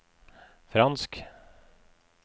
fransk